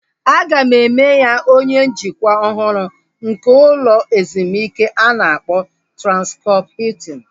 A ga-eme ya onye njikwa ọhụrụ nke ụlọ ezumike a na-akpọ Transkọp Hiltin